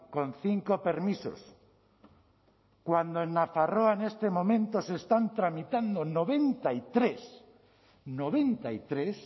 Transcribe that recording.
con cinco permisos cuando en nafarroa en este momento se están tramitando noventa y tres noventa y tres